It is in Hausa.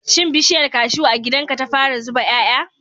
Shin bishiyar cashew a gidan ka ta fara zuba 'ya'ya?